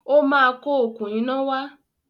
Ó ma kó òkun iná wá